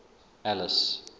alice